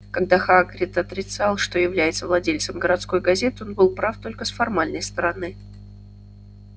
когда хагрид отрицал что является владельцем городской газеты он был прав только с формальной стороны